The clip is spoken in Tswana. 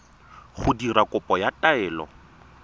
go dira kopo ya taelo